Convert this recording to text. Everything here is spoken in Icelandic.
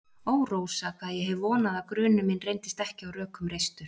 Ó, Rósa, hvað ég hef vonað að grunur minn reyndist ekki á rökum reistur.